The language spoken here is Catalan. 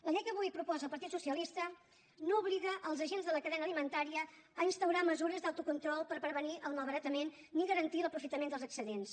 la llei que avui proposa el partit socialista no obliga els agents de la cadena alimentària a instaurar mesures d’autocontrol per prevenir el malbaratament ni garantir l’aprofitament dels excedents